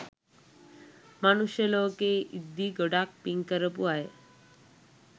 මනුෂ්‍ය ලෝකයේ ඉද්දී ගොඩාක් පින් කරපු අය